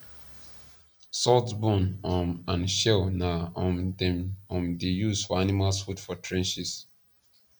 salt bone um and shell na um them um da use for animals food for trenches